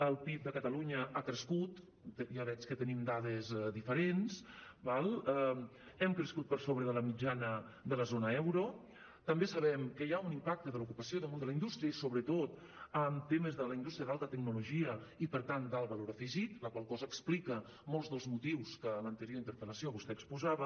el pib de catalunya ha crescut ja veig que tenim dades diferents d’acord hem crescut per sobre de la mitjana de la zona euro també sabem que hi ha un impacte de l’ocupació damunt de la indústria i sobretot en temes de la indústria d’alta tecnologia i per tant d’alt valor afegit la qual cosa explica molts dels motius que en l’anterior interpel·lació vostè exposava